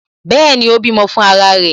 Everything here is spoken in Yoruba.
Bẹẹni, ó bímọ fún ara rẹ̀